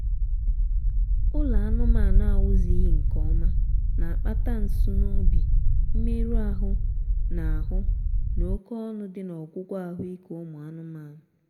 ụlọ anụmaanụ a na-ewuzighị nkeọma na-akpata nsunoobi mmerụ ahụ na ahụ na oké ọnụ dị n'ọgwụgwọ ahụ ike ụmụ anụmaanụ